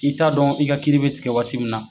I t'a dɔn i ka kiri bɛ tigɛ waati min na.